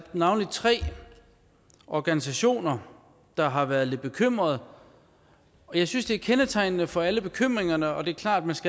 navnlig tre organisationer der har været lidt bekymrede og jeg synes er kendetegnende for alle bekymringerne det er klart at man